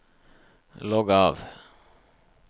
logg av